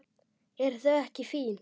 Eru þau ekki fín?